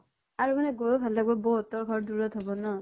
আৰু মানে গৈ ভাল লাগিব বৌ হতৰ ঘৰ দূৰত হব ন?